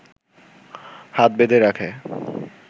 হাত বেঁধে রাখে